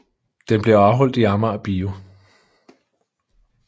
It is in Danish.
Den blev afholdt i Amager Bio